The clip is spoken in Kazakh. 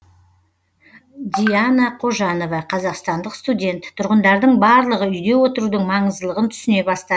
диана кожанова қазақстандық студент тұрғындардың барлығы үйде отырудың маңыздылығын түсіне бастады